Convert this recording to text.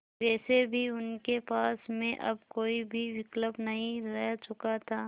वैसे भी उनके पास में अब कोई भी विकल्प नहीं रह चुका था